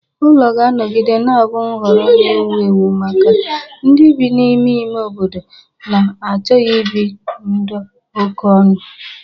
Ụlọ ga-anọgide na-abụ nhọrọ na-ewu ewu maka ndị bi n'ime ime obodo na-achọghi ibi ndụ okonu.